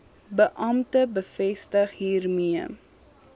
beampte bevestig hiermee